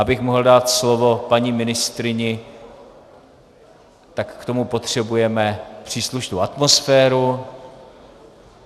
Abych mohl dát slovo paní ministryni, tak k tomu potřebujeme příslušnou atmosféru.